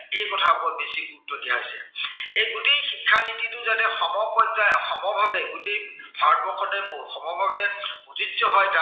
এই কথাবোৰৰ ওপৰত বেছি গুৰুত্ব দিয়া হৈছে। এই গোটেই শিক্ষা নীতিটো যাতে সমপৰ্যায়ৰ, সমভাৱে গোটেই ভাৰতবৰ্ষতে সমভাৱে প্ৰযোজ্য় হয় তাক